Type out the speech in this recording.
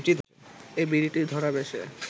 এই বিড়িটি ধরাবে সে